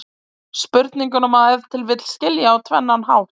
Spurninguna má ef til vill skilja á tvennan hátt.